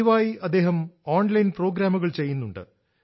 പതിവായി അദ്ദേഹം ഓൺലൈൻ പ്രോഗ്രാമുകൾ ചെയ്യുന്നുണ്ട്